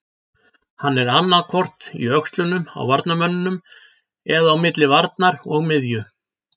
Hann er annaðhvort í öxlunum á varnarmönnunum eða á milli varnar og miðju.